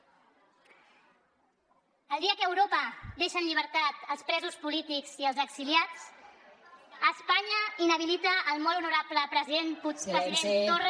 el dia que europa deixa en llibertat els presos polítics i els exiliats espanya inhabilita el molt honorable president torra